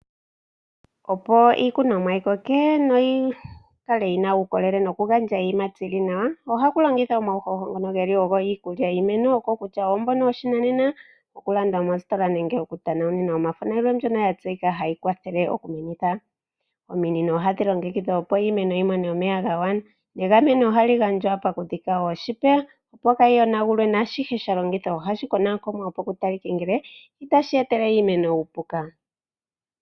Ominino ohadhi longekidhwa opo Naashihe shalongithwabohashi konwaakonwanopo Ku talike kutya naashihe sha longithwa ohashi etele iimeno uupuka